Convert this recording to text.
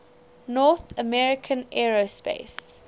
north american aerospace